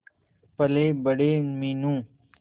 पलेबड़े Meenu